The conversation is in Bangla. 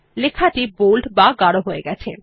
লেখাটি বোল্ড বা গাঢ় হয়ে গেছে